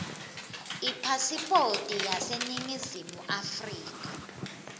ipasipoti yaseningizimu afrika